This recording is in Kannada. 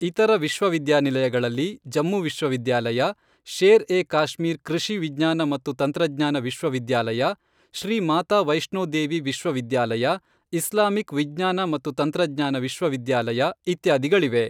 ಇತರ ವಿಶ್ವವಿದ್ಯಾನಿಲಯಗಳಲ್ಲಿ ಜಮ್ಮು ವಿಶ್ವವಿದ್ಯಾಲಯ, ಶೇರ್ ಎ ಕಾಶ್ಮೀರ್ ಕೃಷಿ ವಿಜ್ಞಾನ ಮತ್ತು ತಂತ್ರಜ್ಞಾನ ವಿಶ್ವವಿದ್ಯಾಲಯ, ಶ್ರೀ ಮಾತಾ ವೈಷ್ಣೋ ದೇವಿ ವಿಶ್ವವಿದ್ಯಾಲಯ, ಇಸ್ಲಾಮಿಕ್ ವಿಜ್ಞಾನ ಮತ್ತು ತಂತ್ರಜ್ಞಾನ ವಿಶ್ವವಿದ್ಯಾಲಯ, ಇತ್ಯಾದಿಗಳಿವೆ.